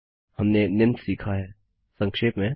हमने निम्न सीखा है संक्षेप में